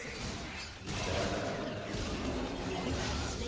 lidlala indima enkulu